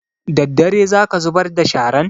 Daddare za ka zubar da sharan?